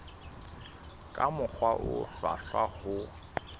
ka mokgwa o hlwahlwa ho